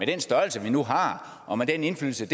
den størrelse vi nu har og med den indflydelse